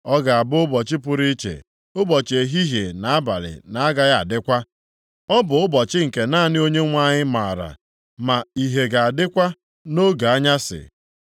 Ọ ga-abụ ụbọchị pụrụ iche, ụbọchị ehihie na abalị na-agaghị adịkwa. Ọ bụ ụbọchị nke naanị Onyenwe anyị maara. Ma ìhè ga-adịkwa nʼoge anyasị.